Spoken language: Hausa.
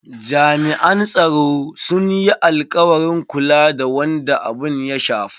Jami'an tsaro sun yi alkawarin kula da wanda abun ya shafa.